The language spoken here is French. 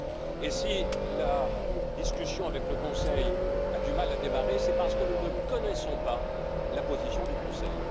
Et, si la discussion avec le Conseil a du mal à démarrer, c'est parce que nous ne connaissons pas la position du Conseil.